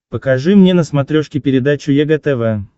покажи мне на смотрешке передачу егэ тв